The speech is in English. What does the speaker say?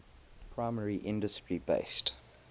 primary industry based